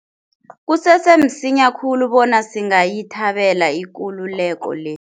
Kusese msinya khulu bona singayithabela ikululeko le.